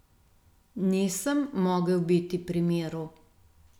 Nisem mogel biti pri miru.